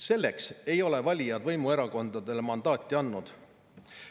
Selleks ei ole valijad võimuerakondadele mandaati andnud.